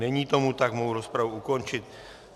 Není tomu tak, mohu rozpravu ukončit.